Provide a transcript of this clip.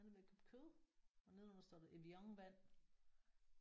Han er ved at købe kød og nedenunder står der Evian-vand